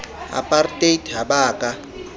apartheid ha ba a ka